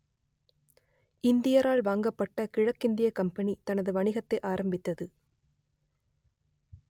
இந்தியரால் வாங்கப்பட்ட கிழக்கிந்தியக் கம்பனி தனது வணிகத்தை ஆரம்பித்தது